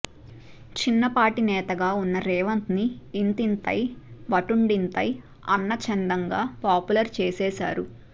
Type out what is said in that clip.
చిన్నపాటి నేతగా వున్న రేవంత్ని ఇంతింతై వటుడింతై అన్నచందంగా పాపులర్ చేసేశారు